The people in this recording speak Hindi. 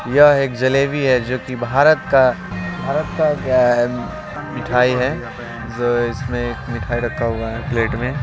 यह एक जलेबी है जो की भारत का भारत का क्या है मिठाई है जो इसमें एक मिठाई रखा हुआ है प्लेट में।